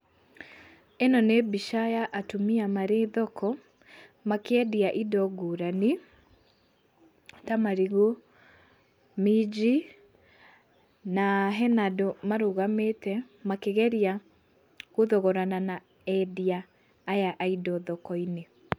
Ĩno nĩ mbica ya atumia marĩ thoko, makĩendia indo ngũrani, ta marigũ, minji, na hena andũ marũgamĩte makĩgeria gũthogorana na endia aya a indo thokon-inĩ.